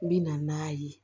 N bɛ na n'a ye